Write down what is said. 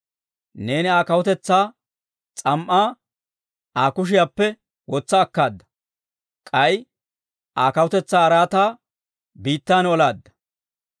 Neeni Aa kawutaa s'am"aa Aa kushiyaappe wotsa akkaada; k'ay Aa kawutetsaa araataa biittan olaadda.